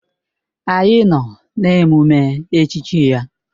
Anyị nọ n'emume echichi ya.